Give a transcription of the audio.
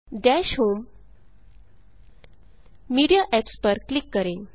दश home media apps पर click करें